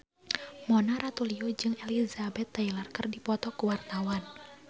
Mona Ratuliu jeung Elizabeth Taylor keur dipoto ku wartawan